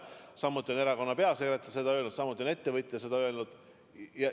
Samuti on erakonna peasekretär seda öelnud, samuti on ettevõtja seda öelnud.